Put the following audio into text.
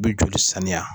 U bɛ joli saniya